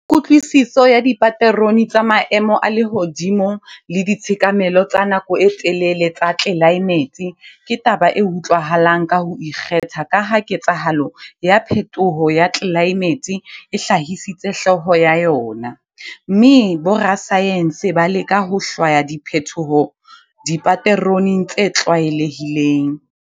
Kutlwisiso ya dipaterone tsa maemo a lehodimo le ditshekamelo tsa nako e telele tsa tlelaemete ke taba e utlwahalang ka ho ikgetha ka ha ketsahalo ya phetoho ya tlelaemete e hlahisitse hloho ya yona, mme borasaense ba leka ho hlwaya diphetoho dipateroneng tse tlwaelehileng.